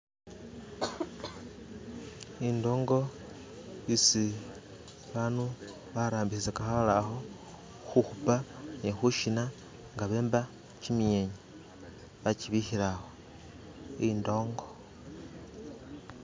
i'ndongo i'si bandu ba'rambisaka ha'leho hu'hupa ni hu'shina nga bemba kyi'myenya ba'kyibihila a'hwo mu'ndongo